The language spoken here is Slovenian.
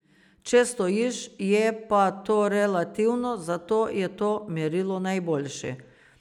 Če stojiš, je pa to relativno, zato je to merilo najboljše.